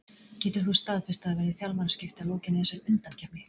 Getur þú staðfest að það verði þjálfaraskipti að lokinni þessari undankeppni?